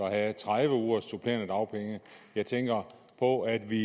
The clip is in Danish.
at have tredive ugers supplerende dagpenge jeg tænker på at vi